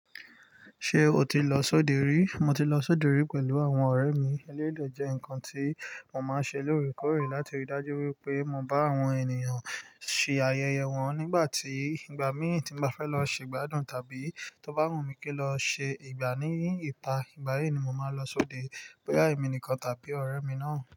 Ṣé o ti lọ sóde rí? Mo ti lọ sóde rí pẹ̀lú àwọn ọ̀rẹ́ mi. Eléyi dè jẹ́ nǹkan tí mo máa ń ṣe lóòrèkóòrè láti rí i dájú wípé mo bá àwọn ènìyàn ṣe ayẹyẹ wọn nígbà tí ìgbà mí tí mo bá fẹ́ lọ ṣe ìgbádùn tàbí tó bá wùn mí kí n lọ ṣe ìgbà ní ìta. Ìgbà yí ni mo máa lọ sóde bóyá èmi nìkan tàbí ọ̀rẹ́ mi náà.